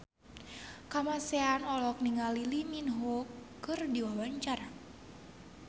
Kamasean olohok ningali Lee Min Ho keur diwawancara